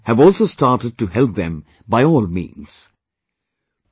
Local fishermen have also started to help them by all means